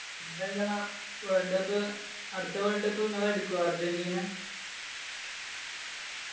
പിന്നെന്താ world cup അടുത്ത world cup ഇങ്ങള് എടുക്കോ അർജന്റീന?